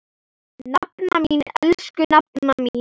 Nafna mín, elsku nafna mín.